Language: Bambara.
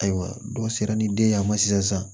Ayiwa dɔ sera ni den ye an ma sisan